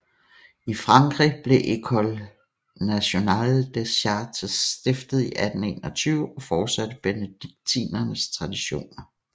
I Frankrig blev École nationale des chartes stiftet i 1821 og fortsatte benediktinernes traditioner